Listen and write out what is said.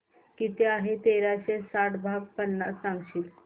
किती आहे तेराशे साठ भाग पन्नास सांगशील